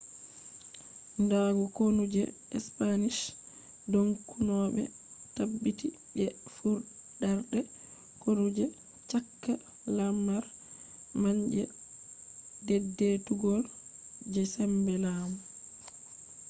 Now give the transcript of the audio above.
nda konu je spanish dongunoɓe tabbiti je furɗarde konu je cakka lamar man je dedeitugo je sembe lamu